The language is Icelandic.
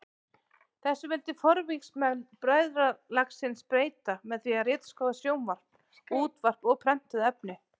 Þessu vildi forvígismenn bræðralagsins breyta með því að ritskoða sjónvarp, útvarp og prentuð efni.